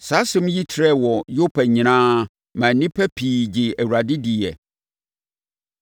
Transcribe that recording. Saa asɛm yi trɛɛ wɔ Yopa nyinaa maa nnipa pii gyee Awurade diiɛ.